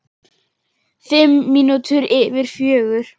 Fimm mínútur yfir fjögur.